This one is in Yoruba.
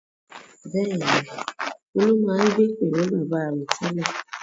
Bẹ́ẹ̀ni, Olú máa ń gbé pẹ̀lú bàbá rẹ̀ tẹ́lẹ̀.